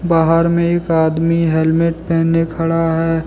बाहर में एक आदमी हेलमेट पहने खड़ा है।